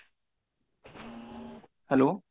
hello